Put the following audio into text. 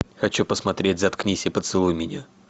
хочу посмотреть заткнись и поцелуй меня